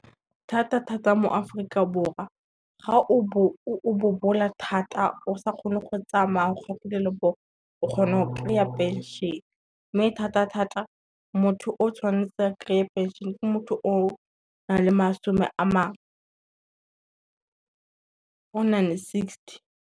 Thata thata mo Aforika Borwa ga o bobola thata o sa kgone go tsamaya o gona go kry-a pension, mme thata thata motho o tshwanetse a kry-e pension ke motho o o nang le sixty.